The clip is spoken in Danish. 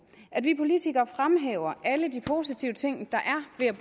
at vi politikere fremhæver alle de positive ting der er